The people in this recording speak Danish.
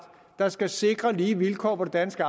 der skal sikre lige vilkår på det danske